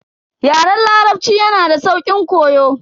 Yaren larabci yanada sauƙin koyo.